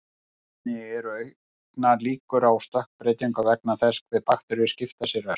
Einnig eru auknar líkur á stökkbreytingu vegna þess hve bakteríur skipta sér ört.